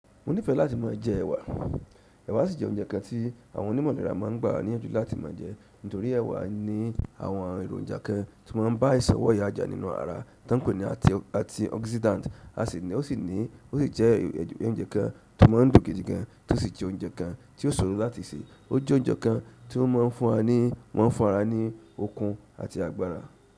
Mo nífẹ̀ẹ́ láti máa jẹ ẹ̀wà. Ẹ̀wà sì jẹ́ oúnjẹ kan tí àwọn onímọ̀lẹ̀ra máa ń gbà níyànjú láti ma jẹ nítorí ẹ̀wà ní àwọn èròjà kan tí ó máa ń bá àìsàn wọ́ya jà nínú ará ton pe ní àntioxidant. A sì ní o sí jẹ́ oúnjẹ kan tí ó máa ń dùn gidi gan tí ó sì jẹ́ oúnjẹ kan tí ó ṣòro láti sè. Ó jẹ́ oúnjẹ kan tí ó máa ń fún wa ní maa n fún ara ni okun àti agbára.